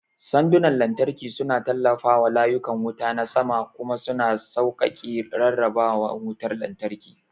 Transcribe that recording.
Sandunan lantarki suna tallafawa layukan wuta na sama kuma suna sauƙaƙe rarraba wutar lantarki.